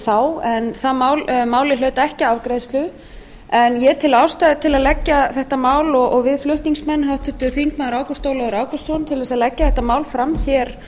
þá en málið hlaut ekki afgreiðslu en ég og við flutningsmenn háttvirtir þingmenn ágúst ólafur ágústsson teljum ástæðu til að leggja þetta mál fram